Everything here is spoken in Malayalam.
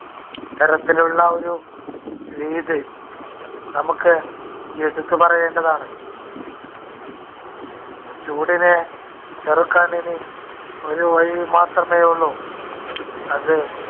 ഇത്തരത്തിലുള്ള ഒരു രീതി നമുക്ക് എടുത്തുപറയേണ്ടതാണ്. ചൂടിനെ ചെറുക്കാനിനി ഒരു വഴി മാത്രമേ ഉള്ളൂ. അത്